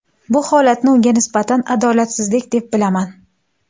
Bu holatni unga nisbatan adolatsizlik deb bilaman.